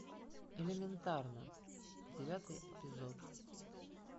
элементарно девятый эпизод